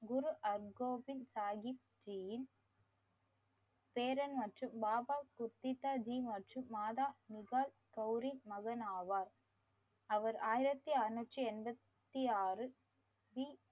குரு அர்கோவிந்த் சாஹிப் ஜீன் பேரன் மற்றும் பாபா குர்திதா மற்றும் ஜீயின் மாதா முகாஸ் கௌரி மகன் ஆவார். அவர் ஆயிரத்தி அறநூற்றி எண்பத்தி ஆறு